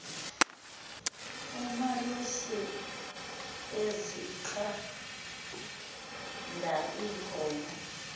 umalusi ezinqanda iinkomo